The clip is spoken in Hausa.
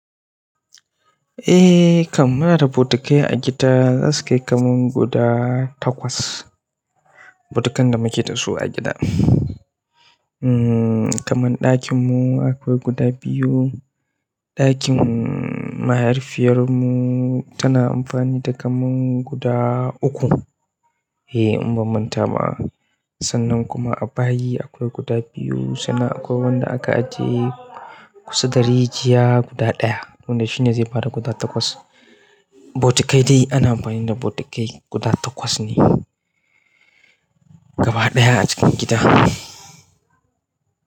Ai kam muna da botukai a gida za su kai kaman guda takwas botukan da muka da su a gida. Umm, kaman ɗakin mu akwai guda biyu. Ɗakin mahaifiyar mu tana amfani da kamun guda uku. Eh, in ban manta ba. Sannan kuma a bayi akwai guda biyu. Sannan akwai wanda aka ajiye kusa da rijiya guda ɗaya. Don da shine zai bada guda takwas. Botukai dai ana amfani da botukai guda takwas ne gaba ɗaya a cikin gida.